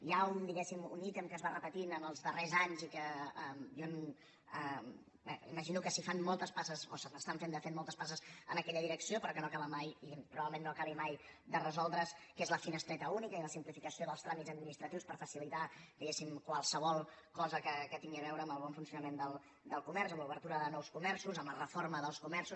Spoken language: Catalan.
hi ha diguéssim un ítem que es va repetint els darrers anys i que jo imagino que s’hi fan moltes passes o s’estan fent de fet moltes passes en aquella direcció però que no acaba mai i probablement no acabi mai de resoldre’s que és la finestreta única i la simplificació dels tràmits administratius per facilitar diguéssim qualsevol cosa que tingui a veure amb el bon funcionament del comerç amb l’obertura de nous comerços amb la reforma dels comerços